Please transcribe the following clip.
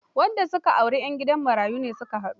Wadda ya aura a gidan marayu su ka haɗu.